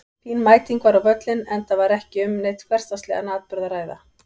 Fín mæting var á völlinn enda var ekki um neinn hversdagslegan atburð að ræða.